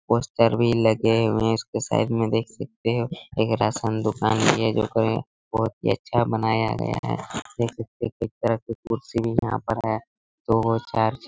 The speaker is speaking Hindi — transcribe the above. पोस्टर भी लगे हुए उसके साइड में देख सकते हैं एक राशन दुकान हैं ये जोकर हैं बहुत ही अच्छा बनाया गया हैं देख सकते हैं तरह के कुर्सी यहाँ पर हैं दो चार्ज